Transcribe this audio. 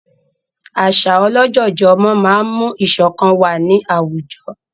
Àṣà ọlọ́jọ̀jọ̀ ọmọ máa ń mú ìṣọ̀kan wà ní àwùjọ